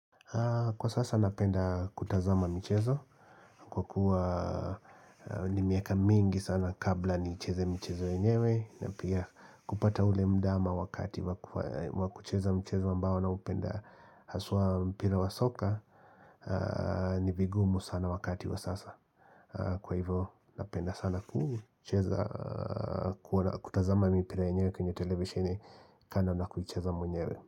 Kwa sasa napenda kutazama michezo, kwa kuwa ni miaka mingi sana kabla nicheze mchezo yenyewe na pia kupata ule mda ama wakati wa kucheza mchezo ambao naupenda haswa mpira wa soka ni vigumu sana wakati wa sasa Kwa hivyo napenda sana kutazama mipira yenyewe kwenye televisheni kando na kucheza mwenyewe.